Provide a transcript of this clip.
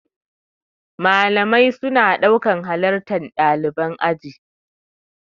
Malamai suna ɗaukan halartar ɗalibai aji.